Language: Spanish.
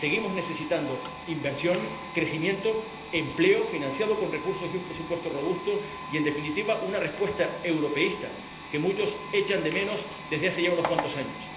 seguimos necesitando inversión, crecimiento, empleo, financiado con recursos y un presupuesto robusto, y, en definitiva, una respuesta europeísta, que muchos echan de menos desde hace ya unos cuantos años.